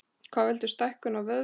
Hvað veldur stækkun á vöðvum?